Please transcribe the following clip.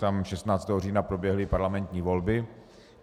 Tam 16. října proběhly parlamentní volby.